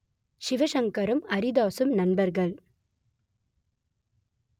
சிவசங்கரும் அரிதாசும் நண்பர்கள்